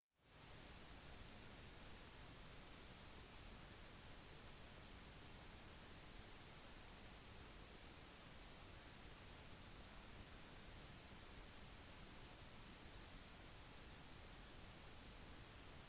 dette har muliggjort at zoomobjektiver har kunnet produsere bilder av en kvalitet som er sammenlignbar med den man oppnår med objektiver med fast fokuslengde